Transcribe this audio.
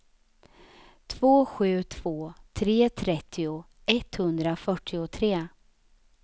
två sju två tre trettio etthundrafyrtiotre